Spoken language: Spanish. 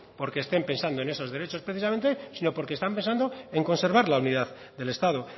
porque estén pensando en esos derechos precisamente sino porque están pensando en conservar la unidad del estado